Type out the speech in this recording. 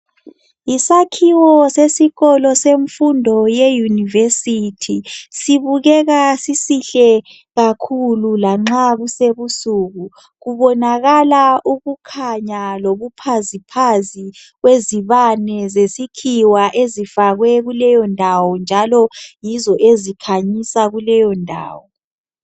Yisakhiwo sesikolo semfundo ye university sibukeka sisihle kakhulu lanxa kusebusuku kubonakala ukukhanya lobukhazikhazi kwezibane zesikhiwa ezifakwe kuleyindawo njalo yizo ezikhanyisa kuleyondawo.